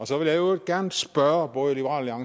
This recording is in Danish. så vil jeg i øvrigt gerne spørge både liberal